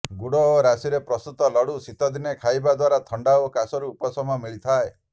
ଗୁଡ ଓ ରାଶିରେ ପ୍ରସ୍ତୁତ ଲଡୁ ଶୀତଦିନେ ଖାଇବା ଦ୍ବାରା ଥଣ୍ଡା ଓ କାଶରୁ ଉପଶମ ମିଳିଥାଏ